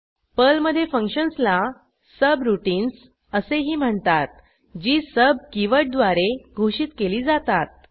पर्लमधे फंक्शन्सला सब्राउटिन्स असेही म्हणतात जी सुब कीवर्डद्वारे घोषित केली जातात